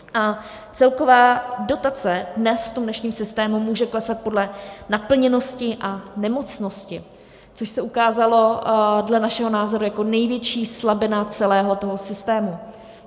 A celková dotace dnes v tom dnešním systému může klesat podle naplněnosti a nemocnosti, což se ukázalo dle našeho názoru jako největší slabina celého toho systému.